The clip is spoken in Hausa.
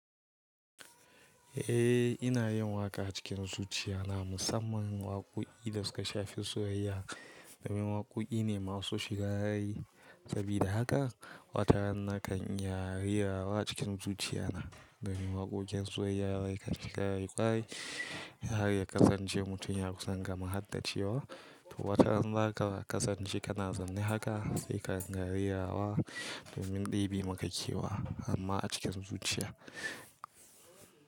Eh ina yin waƙa a cikin zuciya na musamman waƙoƙi da suka shafi soyayya domin waƙoƙi ne masu shiga rai sabida haka wataran naka niyare rawa cikin zuciya na domin waƙo'in soyayya waƙa suka yi ƙwarai har ya kasance mutum ya kusan gama haddace wa to wataran zaka kasance kana zaune haka sai ka rawa domin ɗibi maka kewa amma a cikin zuciya.